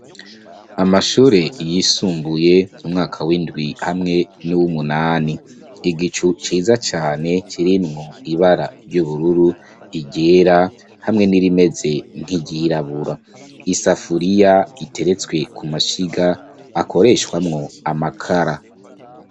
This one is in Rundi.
Amashure yisumbuye umwaka w'indwi hamwe n'w'umunani, igicu ciza cane kirimwo ibara ry'ubururu igera hamwe n'irimeze nkiryirabura, i safuriya iteretswe ku mashiga akoreshwamwo amakara.